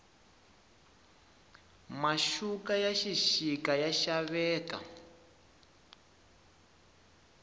maxuka ya xixika ya xaveka